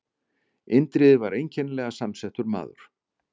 Indriði var einkennilega samsettur maður.